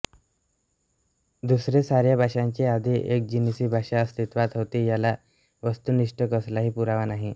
दुसरे साऱ्या भाषांची आधी एकजिनसी भाषा अस्तित्वात होती याला वस्तुनिष्ठ कसलाही पुरावा नाही